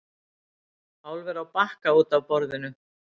Álver á Bakka út af borðinu